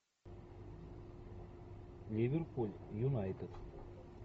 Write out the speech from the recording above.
ливерпуль юнайтед